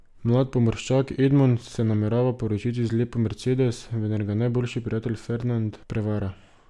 Mlad pomorščak Edmond se namerava poročiti z lepo Mercedes, vendar ga najboljši prijatelj Fernand prevara.